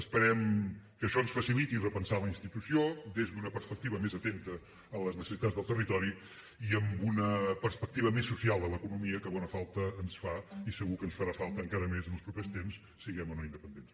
esperem que això ens faciliti repensar la institució des d’una perspectiva més atenta a les necessitats del territori i amb una perspectiva més social de l’economia que bona falta ens fa i segur que ens farà falta encara més en els propers temps siguem o no independents